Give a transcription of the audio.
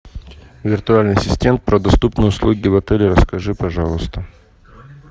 виртуальный ассистент про доступные услуги в отеле расскажи пожалуйста